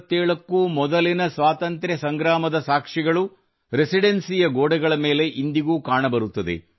1857 ಕ್ಕೂ ಮೊದಲಿನ ಸ್ವಾತಂತ್ರ್ಯ ಸಂಗ್ರಾಮದ ಸಾಕ್ಷಿಗಳು ರೆಸಿಡೆನ್ಸಿಯ ಗೋಡೆಗಳ ಮೇಲೆ ಇಂದಿಗೂ ಕಾಣಬರುತ್ತದೆ